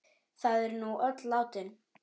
Þau eru nú öll látin.